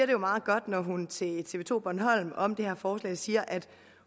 jo meget godt når hun til tv to bornholm om det her forslag siger at